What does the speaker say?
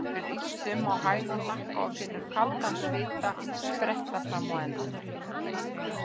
Hann brýst um á hæl og hnakka, finnur kaldan svita spretta fram á enninu.